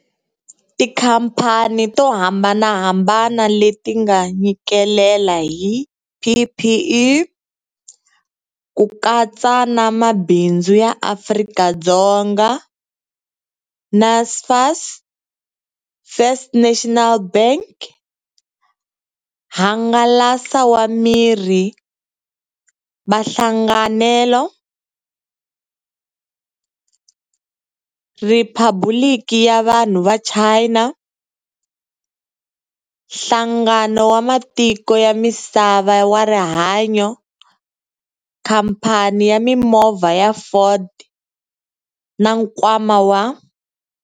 Tikhamphani to hambanahambana leti nga nyikelela hi PPE, ku katsa na Mabindzu ya Afrika-Dzonga, Naspers, First National Bank, hangalasa va Mirhi va Hlanganelo, Riphabuliki ya Vanhu va China, Nhlangano wa Matiko ya Misava wa Rihanyo, Khamphani ya Mimovha ya Ford na Nkwama wa